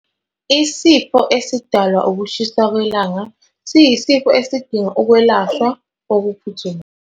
Isifo esidalwa ukushisa kwelanga siyisifo esidinga ukwelashwa okuphuthumayo.